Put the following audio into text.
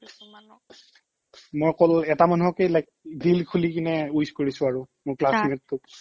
মই অকল এটা মানুহকে like dil খুলিকিনে wish কৰিছো কাক মোৰ classmate টোক